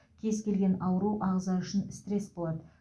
кез келген ауру ағза үшін стресс болады